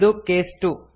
ಇದು ಕೇಸ್ 2